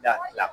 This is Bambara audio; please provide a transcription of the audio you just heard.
Da kila